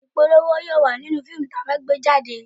Ìpolówó yóò wà nínú fíìmù tí a fẹ́ gbé jáde